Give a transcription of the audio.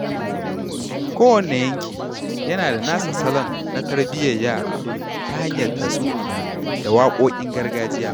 Kowane yanki yana da nasa salon na tarbiyyar yara ta hanyar tatsuniya da waƙoƙin gargajiya.